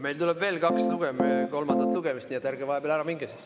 Meil tuleb veel kaks kolmandat lugemist, nii et ärge vahepeal ära minge.